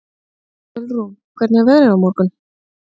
Ölrún, hvernig er veðrið á morgun?